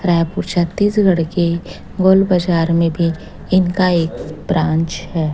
रायपुर छत्तीसगढ़ के गोल बजार में भी इनका एक ब्रांच है।